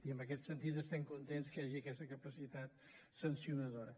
i en aquest sentit estem contents que hi hagi aquesta capacitat sancionadora